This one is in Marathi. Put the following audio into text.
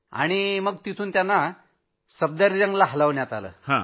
त्यांना नंतर तिथनं सफदरजंगला हलवण्यात आलं